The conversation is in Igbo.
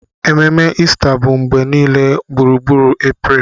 Ememe Ista bụ mgbe niile gburugburu April